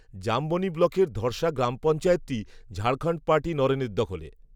জামবনি ব্লকের ধড়সা গ্রাম পঞ্চায়েতটি, ঝাড়খণ্ড পার্টি নরেনের দখলে